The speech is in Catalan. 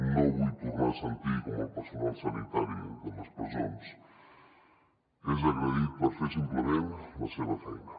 no vull tornar a sentir com el personal sanitari de les presons és agredit per fer simplement la seva feina